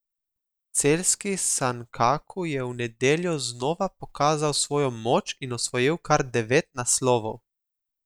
Celjski Sankaku je v nedeljo znova pokazal svojo moč in osvojil kar devet naslovov.